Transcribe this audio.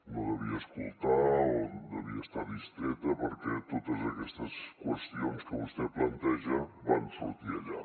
no devia escoltar o devia estar distreta perquè totes aquestes qüestions que vostè planteja van sortir allà